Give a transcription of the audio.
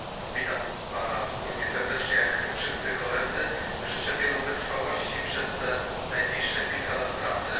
Witam pana równie serdecznie jak wszyscy koledzy, życzę wiele wytrwałości przez te najbliższe kilka lat pracy.